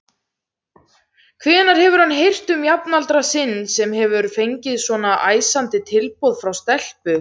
Hvenær hefur hann heyrt um jafnaldra sinn sem hefur fengið svona æsandi tilboð frá stelpu?